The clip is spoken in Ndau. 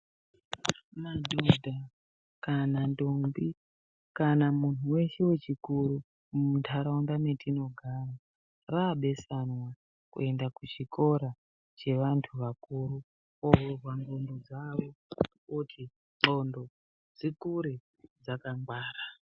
Madhodha kana ntombi kana munhu weshe wechikuru mundaraunda metinogara rabesanwa kuenda kuchikora chevantu vakura kovhurwa ndxondo dzvo kuti ndxondo dzikure dzakangwara.